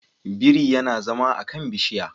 Biri yana zama a kan bishiya